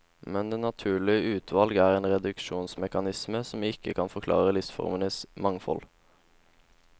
Men det naturlige utvalg er en reduksjonsmekanisme som ikke kan forklare livsformenes mangfold.